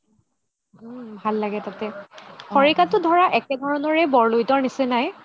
উম ভাল লাগে তাতে খৰিকাতও ধৰা একেধৰণৰে বৰলোহিতৰ নিচিনাই